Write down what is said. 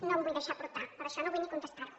no em vull deixar portar per això no vull ni contestar ho